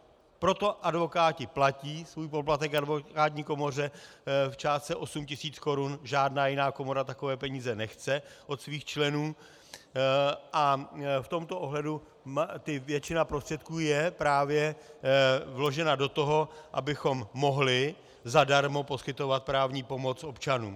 Proto advokáti platí svůj poplatek advokátní komoře v částce 8 tisíc korun, žádná jiná komora takové peníze nechce od svých členů, a v tomto ohledu většina prostředků je právě vložena do toho, abychom mohli zadarmo poskytovat právní pomoc občanům.